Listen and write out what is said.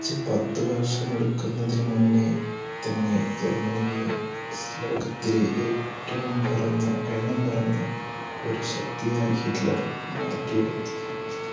തികച് പത്ത് വർഷം എടുക്കുന്നതിനു മുന്നേതന്നെ ജർമനിയെ ലോകത്തിലെ ഏറ്റവും പറഞ്ഞ എണ്ണം പറഞ്ഞ ശക്തിയായി ഹിറ്റ്ലർമാറ്റിയെടുത്തു.